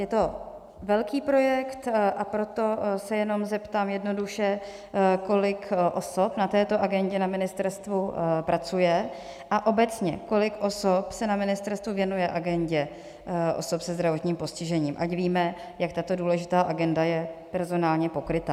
Je to velký projekt, a proto se jenom zeptám jednoduše, kolik osob na této agendě na ministerstvu pracuje, a obecně kolik osob se na ministerstvu věnuje agendě osob se zdravotním postižením, ať víme, jak tato důležitá agenda je personálně pokryta.